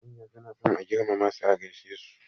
Manya suna son a girmama su a gaishe.